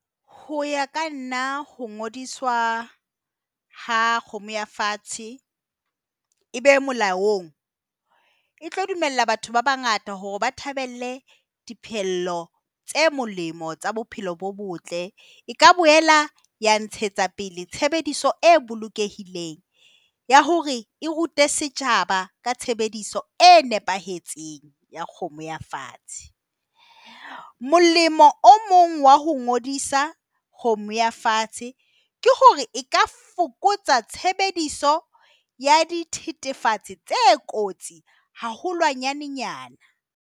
Ho ya ka nna, ho ngodiswa ha kgomo ya fatshe e be molaong, e tlo dumella batho ba bangata hore ba thabele tse molemo tsa bophelo bo botle. E ka boela ya ntshetsa pele tshebediso e bolokehileng ya hore e rute setjhaba ka tshebediso e nepahetseng ya kgomo ya fatshe. Molemo o mong wa ho ngodisa kgomo ya fatshe ke hore e ka fokotsa tshebediso ya dithethefatsi tse kotsi haholwanyanenyana.